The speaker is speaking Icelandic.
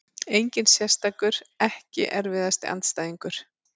Engin sérstakur EKKI erfiðasti andstæðingur?